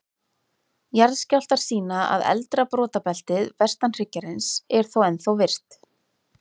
Jarðskjálftar sýna að eldra brotabeltið, vestan hryggjarins, er þó ennþá virkt.